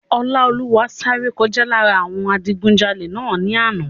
Ọláolúwa sáré kọjá lára àwọn adigunjalè náà ní àná